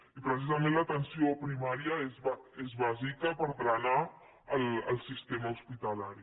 i precisament l’atenció primària és bàsica per drenar el sistema hospitalari